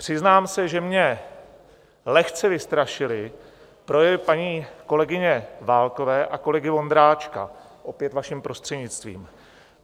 Přiznám se, že mě lehce vystrašily projevy paní kolegyně Válkové a kolegy Vondráčka, opět vaším prostřednictvím.